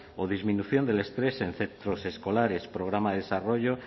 o disminución del estrés en centros escolares programa de desarrollo